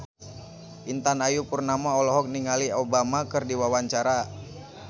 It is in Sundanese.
Intan Ayu Purnama olohok ningali Obama keur diwawancara